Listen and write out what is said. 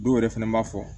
Dɔw yɛrɛ fɛnɛ b'a fɔ